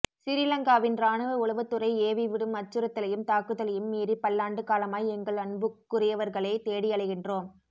சிறிலங்காவின் இராணுவ உளவுத்துறை ஏவி விடும் அச்சுறுத்தலையும் தாக்குதலையும் மீறிப் பல்லாண்டு காலமாய் எங்கள் அன்புக்குரியவர்களைத் தேடியலைகின்றோம்